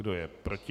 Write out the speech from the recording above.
Kdo je proti?